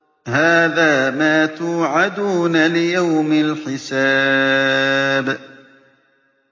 هَٰذَا مَا تُوعَدُونَ لِيَوْمِ الْحِسَابِ